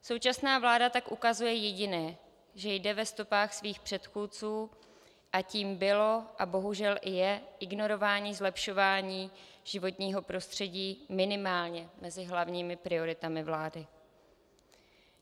Současná vláda tak ukazuje jediné, že jde ve stopách svých předchůdců, a tím bylo a bohužel i je ignorování zlepšování životního prostředí minimálně mezi hlavními prioritami vlády.